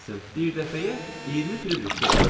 Bir dəfəyə 20 firitərsə qoy.